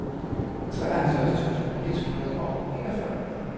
treoghalvfjerds tusind et hundrede og enogfyrre